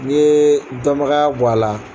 Ni ye dɔnbagaya bɔ a la.